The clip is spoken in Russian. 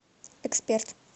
эксперт